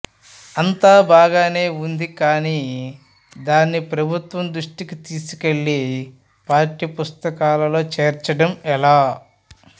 అంతాబాగానే ఉంది కానీ దాన్ని ప్రభుత్వం దృష్టికి తీసుకెళ్లి పాఠ్యపుస్తకాల్లో చేర్చడం ఎలా